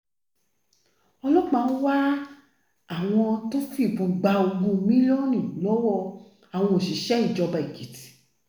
ọlọ́pàá ń wá àwọn tó fìbọn gba ogún mílíọ̀nù lọ́wọ́ àwọn òṣìṣẹ́ ìjọba èkìtì